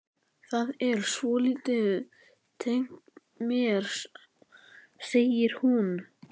Það er svolítið tengt mér, segir hún.